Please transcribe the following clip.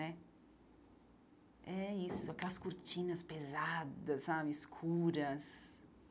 né É isso, aquelas cortinas pesadas sabe, escuras.